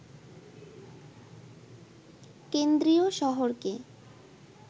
কেন্দ্রীয় শহরকে